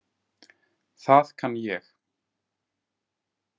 Það kann ég.